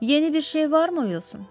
Yeni bir şey varmı, Vilsan?